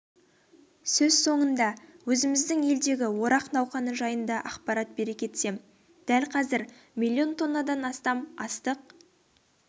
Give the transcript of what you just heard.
сөз соңында өзіміздің елдегі орақ науқаны жайында ақпарат бере кетсем дәл қазір млн тоннадан астам астық